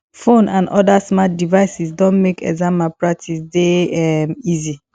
phone and oda smart devices don make exam malpractice dey um easy